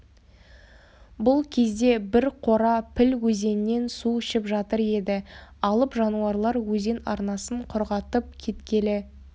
бұл кезде бір қора піл өзеннен су ішіп жатыр еді алып жануарлар өзен арнасын құрғатып кеткелі